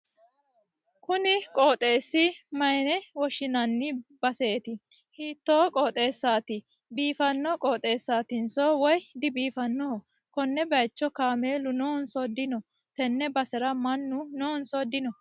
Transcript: konni qooxeessi mayyiine woshshinanni baseeti? hiitto qooxeessaati? biifanno qooxeessaatinso woy dibiifannoho? konne bayicho kaameelu noonso dino? tenne basera mannu noonso dino?